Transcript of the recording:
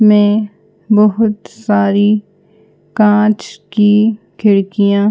में बहोत सारी कांच की खिड़कियां--